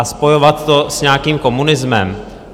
A spojovat to s nějakým komunismem?